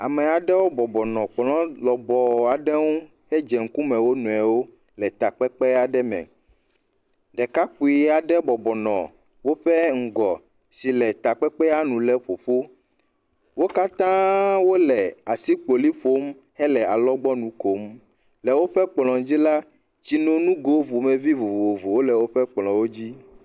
Ame aɖewo bɔbɔ nɔ kplɔ lɔbɔɔ aɖe ŋu hedze ŋkume, wo nɔewo le takpekpe aɖe me, ɖekakpui aɖe bɔbɔ nɔ woƒe ŋgɔ si le takpekpea nu lé ƒo ƒu, wo katãa wole asikpoli ƒom hele alɔgbɔnui kom, le woƒe kplɔwo dzi la, tsinonugo ƒomevi vovovowo le woƒe kplɔwo dzi.